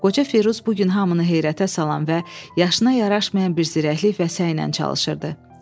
Qoca Firuz bu gün hamını heyrətə salan və yaşına yaraşmayan bir zirəklik və səylə çalışırdı.